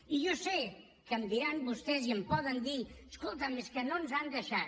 i jo sé que em diran vostès i em poden dir escolta’m és que no ens han deixat